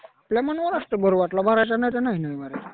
काही आपल्या मनावर असतं. भरू वाटलं भरायचा नाही तर नाही भरायचा.